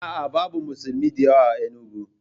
A'a, babu musulmi da yawa a Enugu.